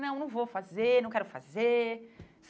Não, não vou fazer, não quero fazer.